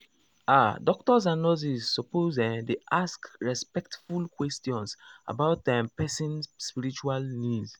ah doctors and nurses suppose ehm dey ask respectful questions about um person spiritual needs.